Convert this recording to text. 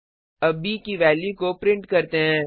अब ब की वैल्यू को प्रिंट करते हैं